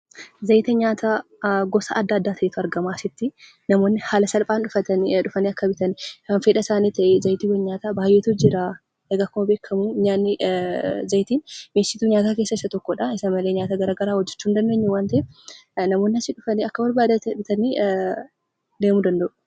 Zayita nyaataa gosa adda addaa ta'etu argama asitti. Namoonni haala salphaan dhufanii akka bitan, kan fedha isaanii ta'e zayitiiwwan nyaataa baayyeetu jira. Egaa akkuma beekamu zayitiin mi'eessituu nyaataa keessaa isa tokkodha. Isa malee nyaata garagaraa hojjachuu hin dandeenyu waan ta'eef, namoonni asii dhufanii akka barbaadanitti bitanii deemuu danda'u.